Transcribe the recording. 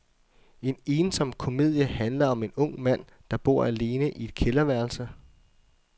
En ensom komedie handler om en ung mand, der bor alene i et kælderværelse.